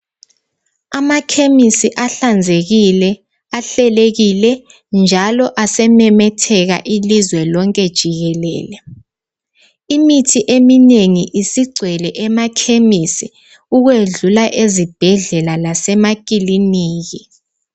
Amakhemisi ahlanzekile, ahlelekile njalo asememetheka ilizwe lonke jikelele. Imithi eminengi isigcwele emakhemisi ukwedlula ezibhedlela lasemakilinika.